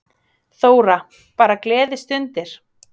Þóra: Bara gleðistundir?